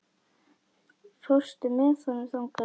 Fórstu með honum þangað?